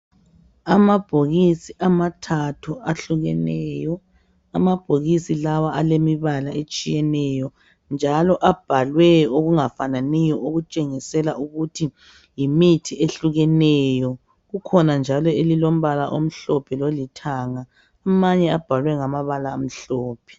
Amabhokisi amathathu ahlukeneyo , amabhokisi lawa alemibala etshiyeneyo njalo abhalwe okungafananiyo okutshengisela ukuthi yimithi ehlukeneyo kukhona njalo elilombala omhlophe lolithanga amanye abhalwe ngamabala amhlophe